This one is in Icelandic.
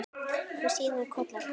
Og síðan koll af kolli.